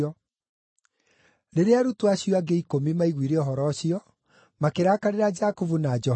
Rĩrĩa arutwo acio angĩ ikũmi maiguire ũhoro ũcio, makĩrakarĩra Jakubu na Johana.